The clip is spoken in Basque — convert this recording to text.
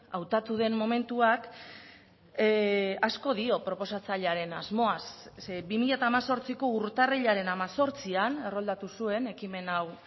hautatu den momentuak asko dio proposatzailearen asmoaz zeren bi mila hemezortziko urtarrilaren hemezortzian erroldatu zuen ekimen hau